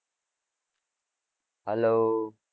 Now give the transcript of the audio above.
hello